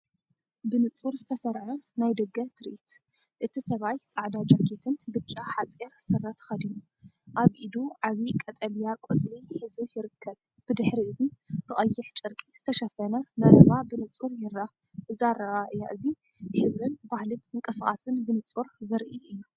ብንጹር ዝተሰርዐ ናይ ደገ ትርኢት! እቲ ሰብኣይ ጻዕዳ ጃኬትን ብጫ ሓፂር ስረ ተኸዲኑ፡ ኣብ ኢዱ ዓቢ ቀጠልያ ቆጽሊ ሒዙ ይርከብ። ብድሕሪ እዚ ብቐይሕ ጨርቂ ዝተሸፈነ መረባ ብንጹር ይርአ፣ እዚ ኣረኣእያ እዚ ሕብርን ባህልን ምንቅስቓስን ብንጹር ዘርኢ እዩ።